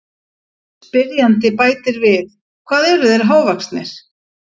Spyrjandi bætir við: Hvað eru þeir hávaxnir?